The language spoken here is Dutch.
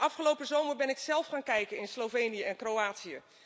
Afgelopen zomer ben ik zelf gaan kijken in Slovenië en Kroatië.